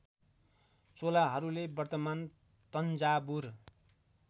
चोलाहरूले वर्तमान तञ्जावुर